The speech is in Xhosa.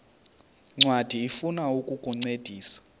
ncwadi ifuna ukukuncedisa